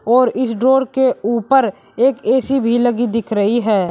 और इस ड्रॉर के ऊपर एक ए_सी भी लगी दिख रही है।